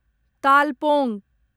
तालपोङ